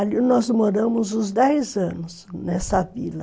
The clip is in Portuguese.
Ali nós moramos uns dez anos, nessa vila.